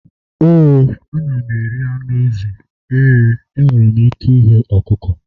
ee, ana m eri anụ ezi. ee, enwere m ike ighe ọkụkọ